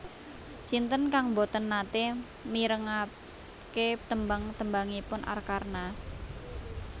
Sinten kang mboten nate mirengake tembang tembangipun Arkarna?